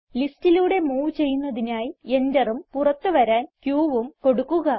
ലിസ്റ്റിലൂടെ move ചെയ്യുന്നതിനായി എന്ററും പുറത്ത് വരാൻ qഉം കൊടുക്കുക